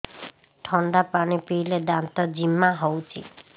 ଥଣ୍ଡା ପାଣି ପିଇଲେ ଦାନ୍ତ ଜିମା ହଉଚି